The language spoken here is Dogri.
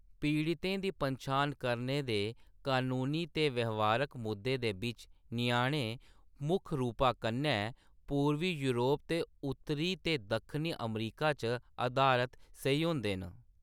पीड़तें दी पन्छान करने दे कनूनी ते व्यवहारक मुद्दे दे बिच्च, ञ्याणे मुक्ख रूपा कन्नै पूरबी योरप ते उत्तरी ते दक्खनी अमरीका च अधारत सेही होंदे न।